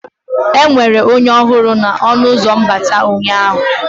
Enwere onye ọhụrụ na ọnụ ụzọ mbata ụnyaahụ?